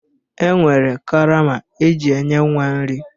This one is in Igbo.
E nwere karama eji enye nwa nri